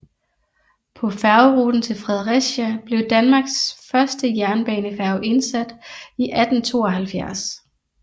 På færgeruten til Fredericia blev Danmarks første jernbanefærge indsat i 1872